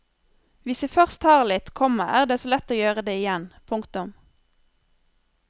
Hvis de først tar litt, komma er det så lett å gjøre det igjen. punktum